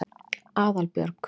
Aðalbjörg